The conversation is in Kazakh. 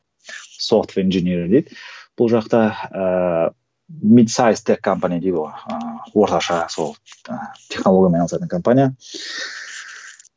софт инженеринг дейді бұл жақта ыыы ыыы орташа сол ыыы технологиямен айналысатын компания